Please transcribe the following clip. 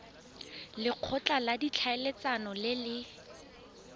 lekgotla la ditlhaeletsano le le